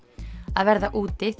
að verða úti